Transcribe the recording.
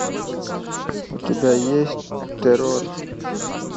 у тебя есть террор